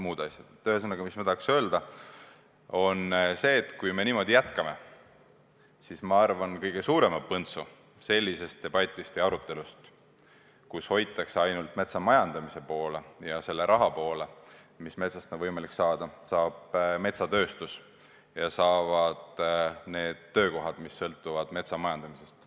Ühesõnaga, ma tahan öelda, et kui me niimoodi jätkame, siis kõige suurema põntsu sellisest debatist või arutelust, kus hoitakse ainult metsamajandamise poole ja selle raha poole, mis metsast on võimalik saada, saab metsatööstus ja saavad töökohad, mis sõltuvad metsamajandamisest.